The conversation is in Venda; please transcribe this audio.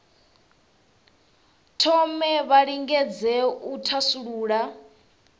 thome vha lingedze u thasulula